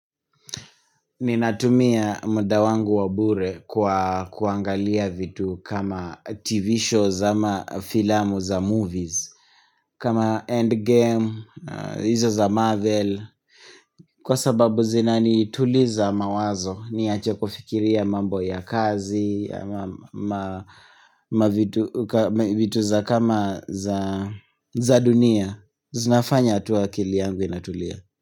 Ninatumia mda wangu wabure kwa kuangalia vitu kama tv shows ama filamu za movies kama endgame, hizo za marvel Kwa sababu zinanituliza mawazo niache kufikiria mambo ya kazi vitu za kama za dunia zinafanya tu akili yangu inatulia.